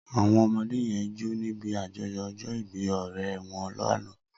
Awọn ọmọdé yèn jó nibi àjọ̀yọ̀ ọjọ ìbì ọrẹ wọn làná